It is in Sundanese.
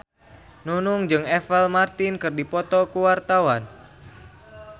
Nunung jeung Apple Martin keur dipoto ku wartawan